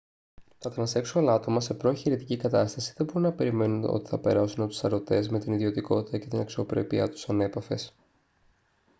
τα τρανσέξουαλ άτομα σε προ-εγχειρητική κατάσταση δεν μπορούν να περιμένουν ότι θα περάσουν από τους σαρωτές με την ιδιωτικότητα και την αξιοπρέπειά τους ανέπαφες